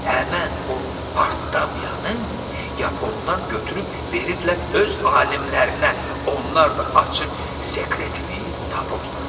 Həmin o partlamayanı yaponlar götürüb veriblər öz alimlərinə, onlar da açıb sekretini tapıblar.